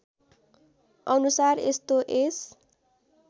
अनुसार यस्तो यस